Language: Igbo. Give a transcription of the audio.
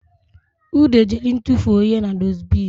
Ude jere ịtụfuo ihe na dusibini